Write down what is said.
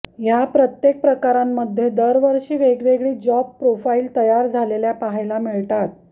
ह्या प्रत्येक प्रकारांमध्ये दरवर्षी वेगवेगळी जॉब प्रोफाईल तयार झालेल्या पाहायला मिळतात